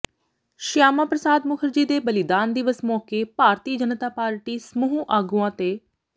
ਸ਼ਿਆਮਾ ਪ੍ਰਸ਼ਾਦ ਮੁਖਰਜੀ ਦੇ ਬਲੀਦਾਨ ਦਿਵਸ ਮੌਕੇ ਭਾਰਤੀ ਜਨਤਾ ਪਾਰਟੀ ਸਮੂਹ ਆਗੂਆਂ ਤੇ